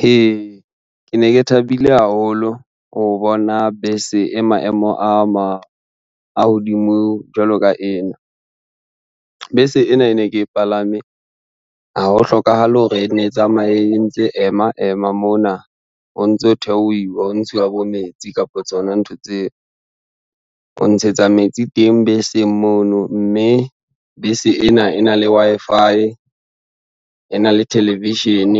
He! Ke ne ke thabile haholo ho bona bese e maemo a hodimo jwalo ka ena. Bese ena e ne ke palame ha ho hlokahale hore e ne e tsamaye e ntse ema ema mona o ntso theohiwa ho ntshiwa bo metsi kapa tsona ntho tseo. O ntshetsa metsi teng beseng mono, mme bese ena e na le Wi-Fi, ena le television,